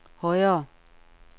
højere